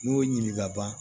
N y'o ɲininka